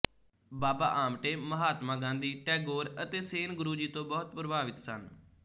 ਬਾਬਾ ਆਮਟੇ ਮਹਾਤਮਾ ਗਾਂਧੀ ਟੈਗੋਰ ਅਤੇ ਸੇਨ ਗੁਰੂ ਜੀ ਤੋਂ ਬਹੁਤ ਪ੍ਰਭਾਵਿਤ ਸਨ